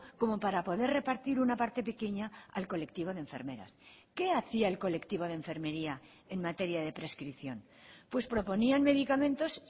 como para poder repartir una parte pequeña al colectivo de enfermeras qué hacía el colectivo de enfermería en materia de prescripción pues proponían medicamentos